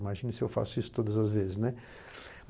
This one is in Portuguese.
Imagine se eu faço isso todas as vezes, né.